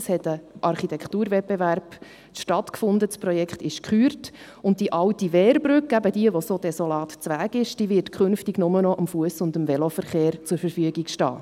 Es fand ein Architekturwettbewerb statt, das Projekt ist gekürt, und die alte Wehrbrücke, die so desolat ist, wird künftig nur noch dem Fuss- und Veloverkehr zur Verfügung stehen.